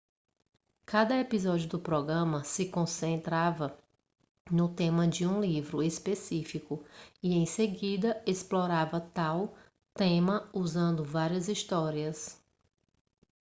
cada episódio do programa se concentrava no tema de um livro específico e em seguida explorava tal tema usando várias histórias